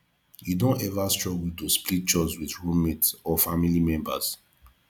you don ever struggle to split chores with roommate or family members